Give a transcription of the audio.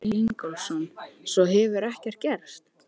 Helga: Hver var hápunkturinn?